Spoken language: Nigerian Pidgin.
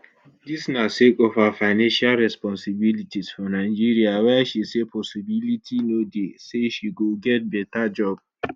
dis na sake of her financial responsibilities for nigeria wia she say possibility no dey say she go get beta job